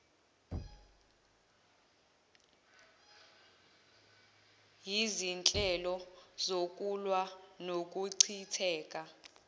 yizinhlelo zokulwa nokuchitheka